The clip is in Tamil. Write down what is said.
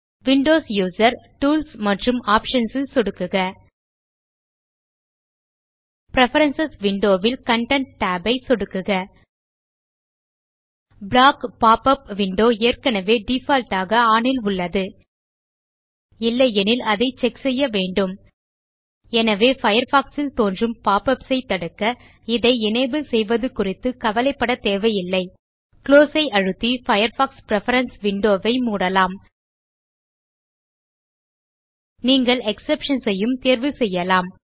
விண்டோஸ் யூசர்ஸ் டூல்ஸ் மற்றும் ஆப்ஷன்ஸ் ல் சொடுக்குக பிரெஃபரன்ஸ் விண்டோ ல் கன்டென்ட் tab ஐ சொடுக்குக ப்ளாக் pop உப் விண்டோஸ் ஏற்கனவே டிஃபால்ட் ஆக ஒன் ல் உள்ளது இல்லையெனில் அதை செக் செய்ய வேண்டும் எனவே பயர்ஃபாக்ஸ் ல் தோன்றும் பாப் யுபிஎஸ் ஐ தடுக்க இதை எனபிள் செய்வது குறித்து கவலைப்படத் தேவையில்லை குளோஸ் ஐ அழுத்தி பயர்ஃபாக்ஸ் பிரெஃபரன்ஸ் விண்டோ ஐ மூடலாம் நீங்கள் எக்ஸெப்ஷன்ஸ் யும் தேர்வு செய்யலாம்